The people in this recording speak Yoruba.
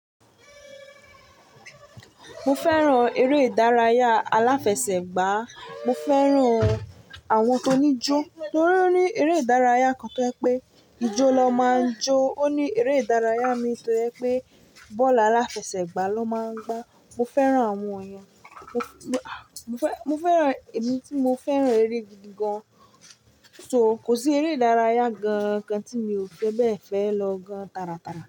Mo fẹ́ràn eré ìdárayá aláfẹsẹ̀gbá, mo fẹ́ràn àwọn tó níjó, torí ó ní eré ìdárayá kan tó yé pé ijó lọ máa ń jó. Ó ní eré ìdárayá mi tọ́ yẹ pé bọ́ọ̀lù aláfẹsẹ̀gbá ló máa ń gbá. Mo fẹ́ràn àwọn ìyẹn. Mo f--, mo, mo fẹ́, mo fẹ́ràn, èmi tí mo fẹ́ràn eré gidi gan-an. So kò sí eré ìdárayá gan gan tí mi ò fẹ́ bẹ́ẹ̀ fẹ́ lọ gan-an taratara.